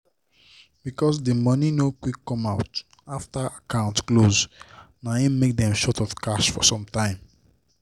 because the money no quick come out after account close na hin make dem short of cash for some time